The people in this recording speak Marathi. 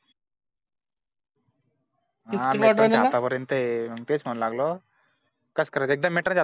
ते म्हणू लागलं कस कर एकदा आ Matter झालं